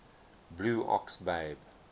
blue ox babe